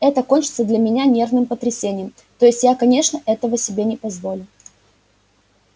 это кончится для меня нервным потрясением то есть я конечно этого себе не позволю